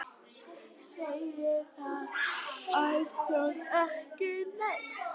Segir það alþjóð ekki neitt?